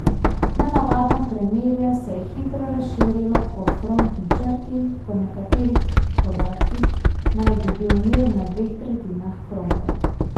Nenavadno premirje se je hitro razširilo po frontni črti, po nekaterih podatkih naj bi bil mir na dveh tretjinah fronte.